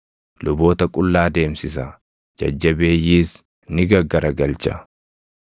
Luboota qullaa deemsisa; jajjabeeyyiis ni gaggaragalcha.